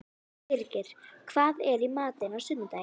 Birgir, hvað er í matinn á sunnudaginn?